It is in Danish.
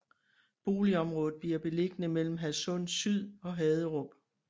Boligområdet bliver beliggende mellem Hadsund Syd og Haderup